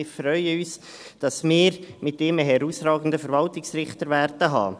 Wir freuen uns, dass wir mit ihm einen herausragenden Verwaltungsrichter haben werden.